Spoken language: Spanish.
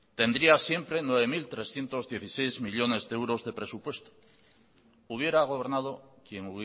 tendría siempre nueve mil trescientos dieciséis millónes de euros de presupuesto hubiera gobernado quien